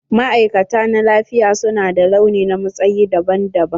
Ma'aikata na lafiya su na da launi na matsayi daban daban.